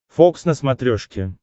фокс на смотрешке